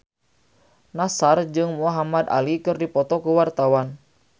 Nassar jeung Muhamad Ali keur dipoto ku wartawan